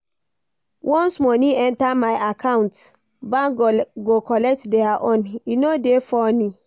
Once moni enta my account, bank go collect their own, e no dey funny.